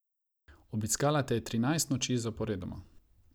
Obiskala te je trinajst noči zaporedoma.